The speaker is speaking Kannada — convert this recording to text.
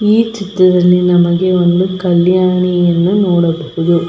ಈ ಚಿತ್ರದಲ್ಲಿ ನಮಗೆ ಒಂದು ಕಲ್ಯಾಣಿಯನ್ನು ನೋಡಬಹುದು.